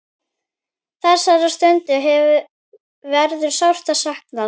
Þessara stunda verður sárt saknað.